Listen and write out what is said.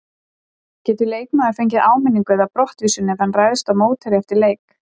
Getur leikmaður fengið áminningu eða brottvísun ef hann ræðst á mótherja eftir leik?